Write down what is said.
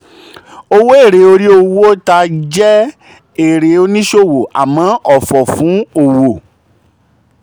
owó èrè orí owó ta jẹ́ èrè oníṣòwò àmọ́ ọ̀fọ̀ fún òwò.